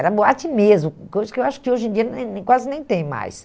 Era boate mesmo, coisa que eu acho que hoje em dia nem nem quase nem tem mais.